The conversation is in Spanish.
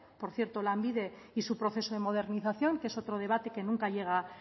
por cierto lanbide y su proceso de modernización que es otro debate que nunca llega